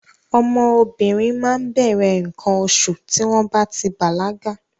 Ọmọ obìnrin máa ń bẹ̀rẹ̀ nǹkan oṣù tí wọ́n bá ti bàlágà.